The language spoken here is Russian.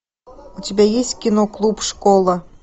у тебя есть кино клуб школа